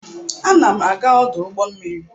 Ana m aga ọdụ ụgbọ mmiri.